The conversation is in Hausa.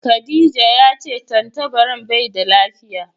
Khadijah ya ce tantabaran bai da lafiya.